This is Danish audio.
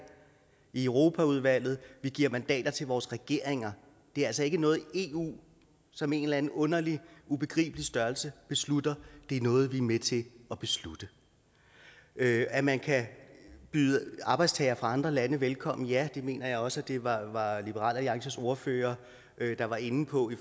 i europaudvalget og vi giver mandat til vores regering det er altså ikke noget eu som en eller anden underlig ubegribelig størrelse beslutter det er noget vi er med til at beslutte at man kan byde arbejdstagere fra andre lande velkommen ja det mener jeg også det var liberal alliances ordfører der var inde på